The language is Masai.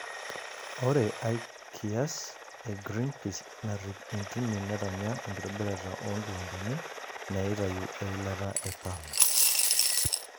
Ore ai kias e Greenpeace narrip intimi netanya enkitobirata oonkiwandani naitayu eilata e palm.